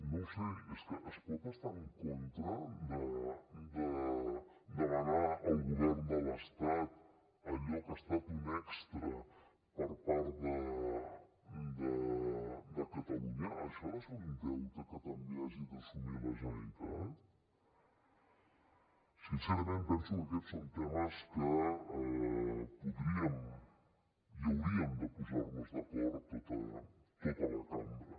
no ho sé és que es pot estar en contra de demanar al govern de l’estat allò que ha estat un extra per part de catalunya això ha de ser un deute que també hagi d’assumir la generalitat sincerament penso que aquests són temes en què podríem i hauríem de posar nos d’acord tota la cambra